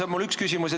See on mu üks küsimus.